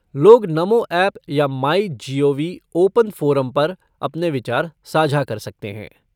लोग नमो ऐप या my gov open forum पर अपने विचार साझा कर सकते हैं।